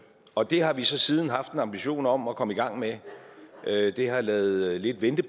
og det har vi så siden haft en ambition om at komme i gang med det har ladet vente